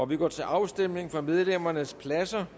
vi går til afstemning fra medlemmernes pladser